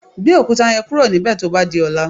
Gbé òkúta yẹn kúrò níbè tó bá di ọ̀la.